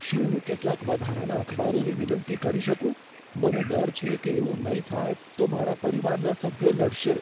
શું હું કેટલાક વધારાના અખબારોની વિનંતી કરી શકું? મને ડર છે કે એવું નહીં થાય તો મારા પરિવારના સભ્યો લડશે.